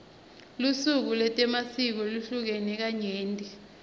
lusuku letemasiko luhlukene kanyenti